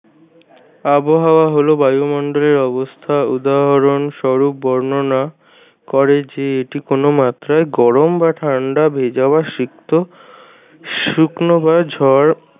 আবহাওয়া হল বায়ুমন্ডলের অবস্থা উদাহরন স্বরুপ বর্ণনা করে যে এটি কোনো মাত্রায় গরম বা ঠান্ডা ভেজা বা সিক্ত শুকনো বা ঝড়